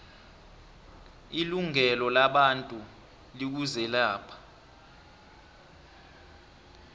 ilungelo labantu likuzelapha